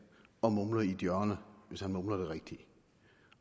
og mumler i et hjørne hvis han mumler det rigtige